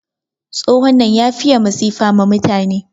Tsohon nan ya fiye masifa ma mutane.